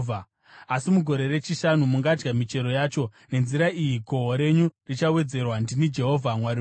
Asi mugore rechishanu mungadya michero yacho. Nenzira iyi gohwo renyu richawedzerwa. Ndini Jehovha Mwari wenyu.